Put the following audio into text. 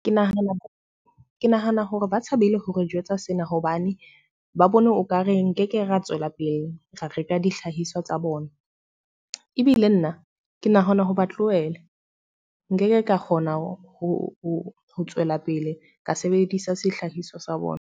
Ke nahana, ke nahana hore ba tshabile ho re jwetsa sena hobane ba bone okare nkeke ra tswela pele ra reka dihlahiswa tsa bona. Ebile nna, ke nahana ho ba tlohela. Nkeke ka kgona ho tswela pele ka sebedisa sehlahiswa sa bona